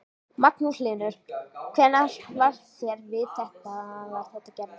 Magnús Hlynur: Hvernig varð þér við þegar þetta gerðist?